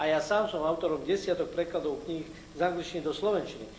Aj ja sám som autorom desiatok prekladov kníh z angličtiny do slovenčiny.